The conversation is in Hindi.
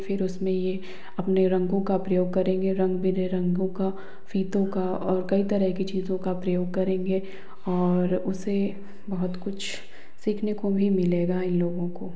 फिर उसमे ये अपने रंगों का प्रयोग करेंगे रंग बिरंगो का फीतों का और कई तरह की चीजों का प्रयोग करेंगे और उसे बहोत कुछ सीखने को भी मिलेगा इन लोगों को।